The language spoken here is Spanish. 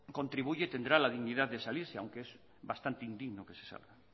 contribuye tendrá la dignidad de salirse aunque es bastante indigno que se salga